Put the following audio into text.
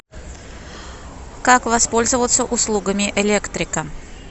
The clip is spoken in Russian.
как воспользоваться услугами электрика